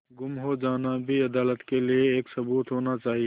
गुम हो जाना भी अदालत के लिये एक सबूत होना चाहिए